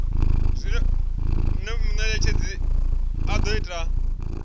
zwine munetshedzi a do ita